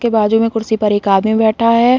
के बाजु में कुर्सी पर एक आदमी बैठा है।